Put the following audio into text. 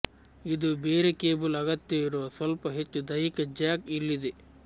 ಇದು ಬೇರೆ ಕೇಬಲ್ ಅಗತ್ಯವಿರುವ ಸ್ವಲ್ಪ ಹೆಚ್ಚು ದೈಹಿಕ ಜ್ಯಾಕ್ ಇಲ್ಲಿದೆ